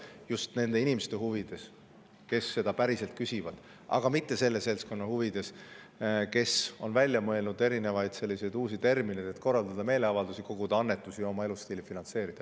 Seda just nende inimeste huvides, kes seda päriselt küsivad, aga mitte selle seltskonna huvides, kes on välja mõelnud erinevaid uusi termineid, et korraldada meeleavaldusi, koguda annetusi ja oma elustiili finantseerida.